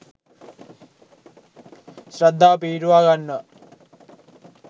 ශ්‍රද්ධාව පිහිටුවා ගන්නවා.